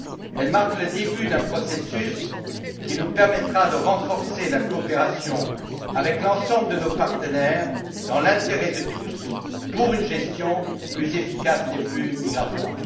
Elle marque le début d'un processus qui nous permettra de renforcer la coopération avec l'ensemble de nos partenaires, dans l'intérêt de tous, pour une gestion plus efficace des flux migratoires.